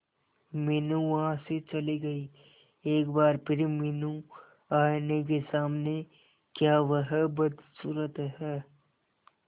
मीनू वहां से चली गई एक बार फिर मीनू आईने के सामने क्या वह बदसूरत है